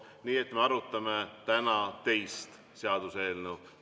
Nii et me arutame täna teist seaduseelnõu.